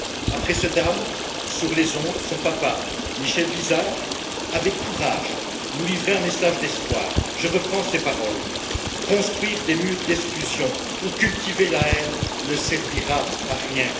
Après ce drame, sur les ondes, son papa Michel Visart, nous livrait, avec courage, un message d'espoir. Je reprends ses paroles Construire des murs d'exclusion ou cultiver la haine ne servira à rien.